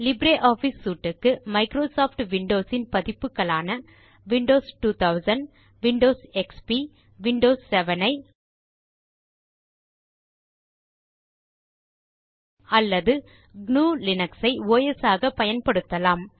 LibreOffice suite க்கு Microsoft Windows இன் பதிப்புகளான விண்டோஸ் 2000 விண்டோஸ் எக்ஸ்பி விண்டோஸ் 7 ஐ அல்லது gnuலினக்ஸ் ஐ ஒஸ் ஆக பயன்படுத்தலாம்